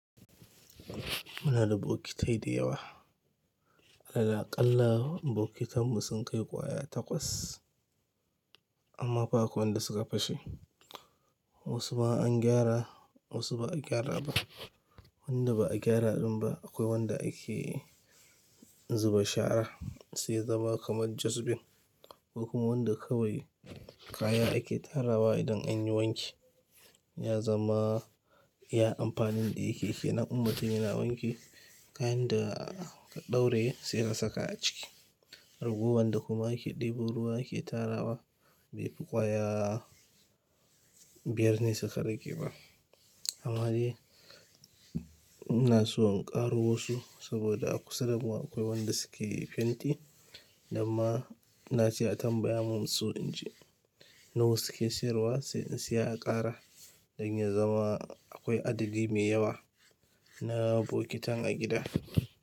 Muna da bokitai dayawa. Alal aƙalla bokitan mu sun kai ƙwaya takwas amma fa akwai wanda suka fashe. Wasu ma an gyara, wasu ba a gyara ba. Wanda ba a gyara din ba akwai wanda ake zuba shara sai yazama kamar dustbin. Akwai kuma wanda kawai kaya ake tarawa idan an yi wanki ya zama iya amfanin da yake ke nan. In mutum yana wanki kayan da ka ɗauraye sai ka saka a ciki. Ragowar da kuma ake ɗebo ruwa ake tarawa bai fi kwaya biyar ne suka rage ba. Amma dai ina so in ƙaro wasu saboda a kusa da mu akwai wanda suke fenti, namma ina ce a tambaya min su inji na wa suke siyarwa sai in saya a ƙara don ya zama akwai adadi mai yawa na bokitan a gida.